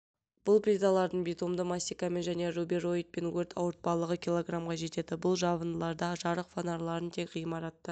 бұл плиталардың битумды мастикамен және рубероидпен өрт ауыртпалығы килограммға жетеді бұл жабындыларда жарық фонарларын тек ғимаратты